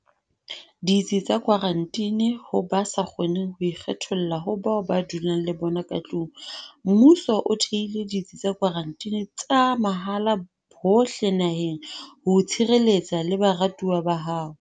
Ditsi tsa Kwaranteni Ho ba sa kgoneng ho ikgetholla ho bao ba dulang le bona ka tlung, mmuso o thehile ditsi tsa kwaranteni tsa mahala hohle naheng ho o tshireletsa le baratuwa ba hao.